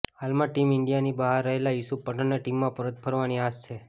હાલમાં ટીમ ઈન્ડિયાની બહાર રહેલા યુસુફ પઠાણને ટીમમાં પરત ફરવાની આશ છે